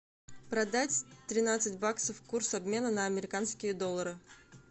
продать тринадцать баксов курс обмена на американские доллары